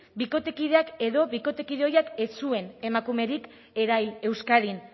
bikotekideak edo bikotekide ohiak ez zuen emakumerik erahil euskadin